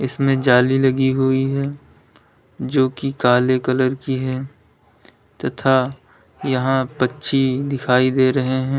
इसमें जाली लगी हुई है जो कि काले कलर की है तथा यहां पक्षी दिखाई दे रहे हैं।